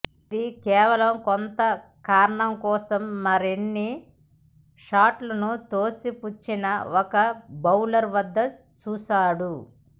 ఇది కేవలం కొంత కారణం కోసం మరిన్ని షాట్లను త్రోసిపుచ్చిన ఒక బౌలర్ వద్ద చూసాడు